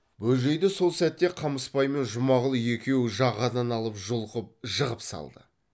бөжейді сол сәтте қамысбай мен жұмағұл екеуі жағадан алып жұлқып жығып салды